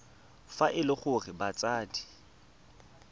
fa e le gore batsadi